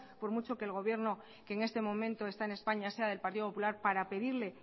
por mucho que el gobierno que en este momento está en españa sea del partido popular para pedirle